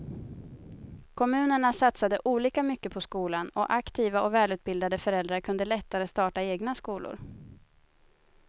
Kommunerna satsade olika mycket på skolan och aktiva och välutbildade föräldrar kunde lättare starta egna skolor.